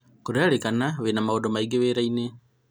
kũrerĩkana wĩna maũndũ maingĩ wĩra inĩ